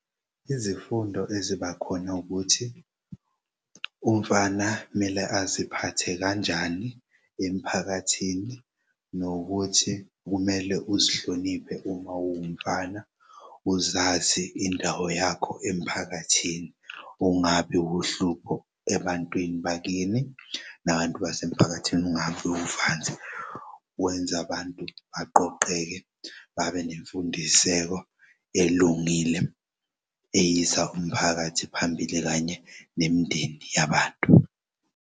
Izifundo ezibakhona ukuthi umfana kumele aziphathe kanjani emphakathini nokuthi kumele uzihloniphe uma uwumfana uzazi indawo yakho emphakathini. Ungabi wuhlupho ebantwini bakini nabantu basemphakathini ungabi uvanzi wenz'abantu baqoqeke babe nemfundiseko elungile eyisa umphakathi phambili kanye nemindeni yabantu.